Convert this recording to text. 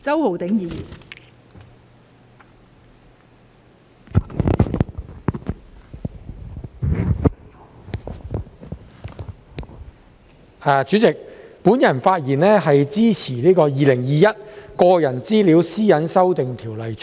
代理主席，我發言支持《2021年個人資料條例草案》。